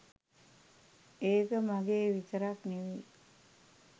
ඒක මගේ විතරක් නෙවයි.